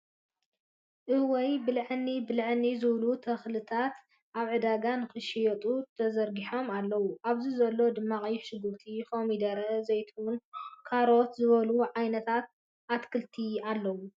እወይ! ብልዐኒ ብልዐኒ ዝብሉ ተኽልሊታት ኣብ ዕዳጋ ንክሽየጡ ተዘርጊሖም ኣለው። ኣብዚ ዘለው ድማ ቀይሕ ሽጉርቲ፣ ኮሚደረ፣ ዘይትሁን ፣ካሮት ዝበሉ ዓይነታት ኣትኽልቲ ኣለው።